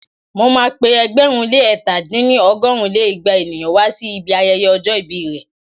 Mo ma pé ẹgbẹ̀rún lé ẹ̀ta dín ní- ọgọ́rùn lé igba ènìyàn wá sí ibi ayẹyẹ ọjọ́ ìbí rẹ̀